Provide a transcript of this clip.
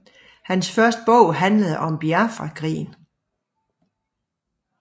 Hans første bog handlede om Biafrakrigen